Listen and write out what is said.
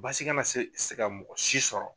Baasi kana se se ka mɔgɔ si sɔrɔ.